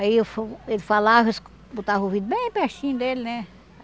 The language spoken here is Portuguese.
Aí eu fu ele falava, escu botava o ouvido bem pertinho dele, né?